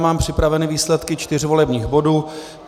Mám připraveny výsledky čtyř volebních bodů.